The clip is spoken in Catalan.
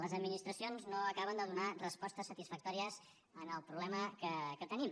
les administracions no acaben de donar respostes satisfactòries al problema que tenim